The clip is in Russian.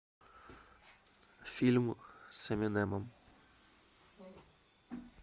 фильм с эминемом